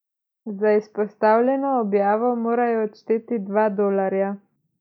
Za izpostavljeno objavo morajo odšteti dva dolarja.